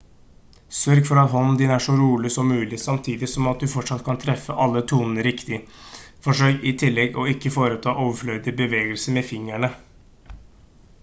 sørg for at hånden din er så rolig som mulig samtidig som at du fortsatt kan treffe alle tonene riktig forsøk i tillegg å ikke foreta overflødige bevegelser med fingrene